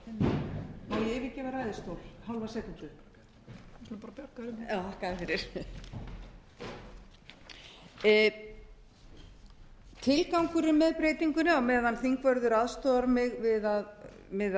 skulum bara bjarga því já þakka þér fyrir tilgangurinn með breytingunni á meðan þingvörður aðstoðar mig við að finna þetta já takk